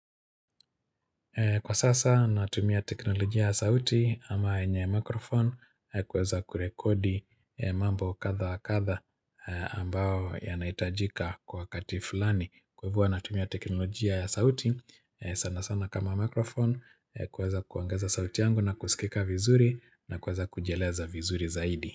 Kwa sasa natumia teknolojia ya sauti ama yenye microphone kuweza kurekodi mambo kadha kadha ambao yanahitajika kwa wakati fulani. Kwa hivyo huwa natumia teknolojia ya sauti sana sana kama microphone kuweza kuongeza sauti yangu na kusikika vizuri na kuweza kujieleza vizuri zaidi.